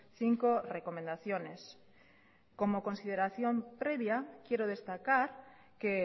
cinco recomendaciones como consideración previa quiero destacar que